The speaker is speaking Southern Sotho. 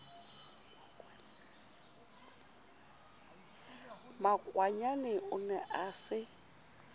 makwanyane o ne a se